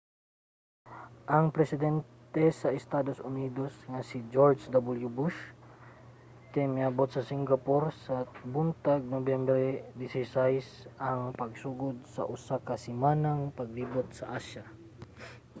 ang presidente sa estados unidos nga si george w. bush kay miabot sa singapore sa buntag sa nobyembre 16 ang pagsugod sa usa ka semanang paglibot sa asya